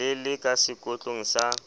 le le ka sekotlong sa